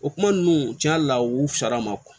O kuma ninnu cɛn yɛrɛ la u fisayara ma